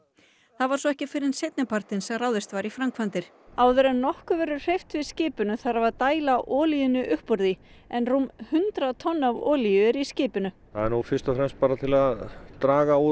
það var svo ekki fyrr en seinni partinn sem ráðist var í framkvæmdir áður en nokkuð verður hreyft við skipinu þarf að dæla olíunni upp úr því en rúm hundrað tonn af olíu eru í skipinu það er nú fyrst og fremst til að draga út